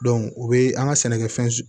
u bɛ an ka sɛnɛkɛfɛn